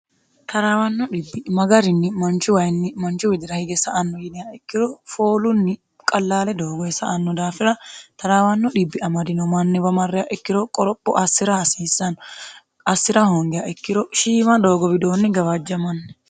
taraawanno dhibbi magarinni manchu wayinni manchu widira hige sa anno yiniha ikkiro foolunni qallaale doogoyi sa"anno daafira taraawanno dhibbi amadino manniwa marreya ikkiro qoropho assi'ra hasiissanno assi'ra hoongeya ikkiro shiima doogo widoonni gabaajjamanni